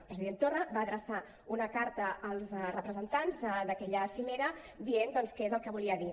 el president torra va adreçar una carta als representants d’aquella cimera dient què és el que volia dir